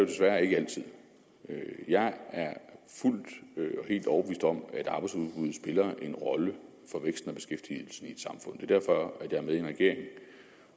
desværre ikke altid jeg er fuldt og helt overbevist om at en rolle for væksten og beskæftigelsen i et samfund det derfor at jeg er med i en regering